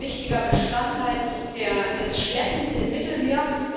Das ist ein wichtiger Bestandteil des Schleppens im Mittelmeer.